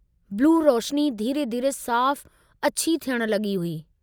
बिलू रोशनी धीरे-धीरे साफ़ अछी थियण लगी हुई।